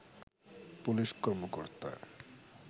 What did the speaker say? police কর্মকর্তা